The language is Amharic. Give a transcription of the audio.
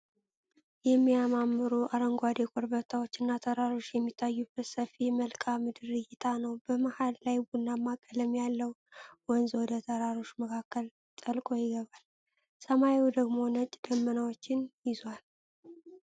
የሚያማምሩ አረንጓዴ ኮረብታዎችና ተራሮች የሚታዩበት ሰፊ የመልክዓ ምድር እይታ ነው። በመሃል ላይ ቡናማ ቀለም ያለው ወንዝ ወደ ተራሮች መካከል ጠልቆ ይገባል፤ ሰማዩ ደግሞ ነጭ ደመናዎችን ይዟል።